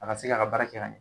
A ka se ka k'a baara kɛ ka ye